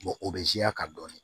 o bɛ ka dɔni